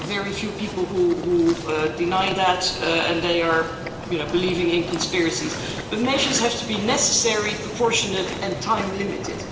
There are very few people who deny that, and they are believing in conspiracies, but measures have to be necessary, proportionate and time-limited.